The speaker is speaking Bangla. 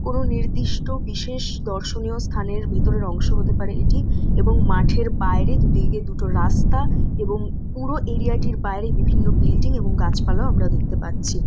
কোন নিদিষ্ট বিশেষ দর্শনীয় স্থানের ভিতরের অংশ হতে পারে এটি এবং মাঠের বাইরে দুদিকে দুটো রাস্তা এবং পুরো এরিয়া টির বাইরে বিভিন্ন বিল্ডিং গাছপালাও আমরা দেখতে পাচ্ছি।